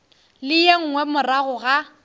le ye nngwe morago ga